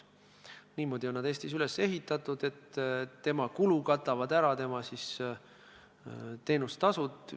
Niimoodi on ta Eestis üles ehitatud, et tema kulu katavad ära teenustasud.